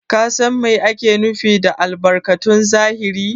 Ka San Mai ake nufi da albarkatun zahiri?